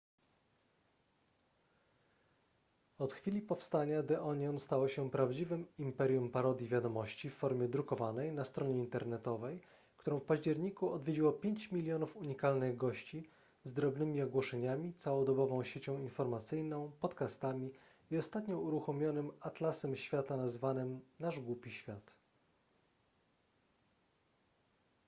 od chwili powstania the onion stało się prawdziwym imperium parodii wiadomości w formie drukowanej na stronie internetowej którą w październiku odwiedziło 5 000 000 unikalnych gości z drobnymi ogłoszeniami całodobową siecią informacyjną podcastami i ostatnio uruchomionym atlasem świata nazwanym nasz głupi świat